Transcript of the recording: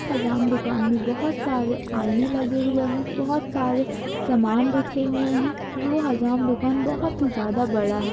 हजाम दुकान मे बहुत सारे आईने लगे हुए है बहुत सारे सामान रखे हुए है जो हजाम दुकान बहुत ही ज्यादा बड़ा है।